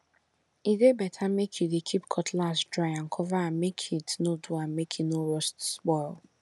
e dey better make you dey keep cutlass dry and cover am make heat no do am make e no rust spoil